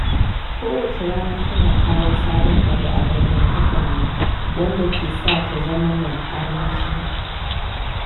Kowace rana tana kawo sabon abu a dangantakarmu, wanda ke sa ta zama mai armashi.